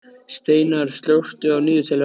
Steinar, slökktu á niðurteljaranum.